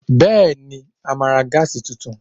Bẹ́ẹ̀ni, a máa ra Gas tuntun